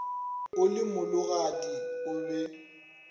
o le mologadi o be